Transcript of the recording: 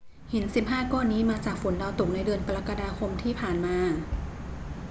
หิน 15 ก้อนนี้มาจากฝนดาวตกในเดือนกรกฎาคมที่ผ่านมา